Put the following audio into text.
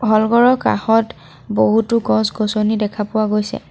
নামঘৰৰ কাষত বহুতো গছ-গছনি দেখা পোৱা গৈছে।